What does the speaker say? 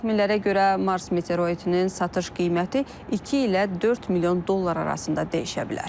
Təxminlərə görə Mars meteoroidinin satış qiyməti 2 ilə 4 milyon dollar arasında dəyişə bilər.